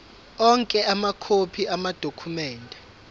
onke amakhophi amadokhumende